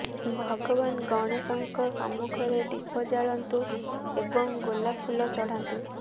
ଭଗବାନ ଗଣେଶଙ୍କ ସମ୍ମୁଖରେ ଦୀପ ଜଳାନ୍ତୁ ଏବଂ ଗୋଲାପ ଫୁଲ ଚଢାନ୍ତୁ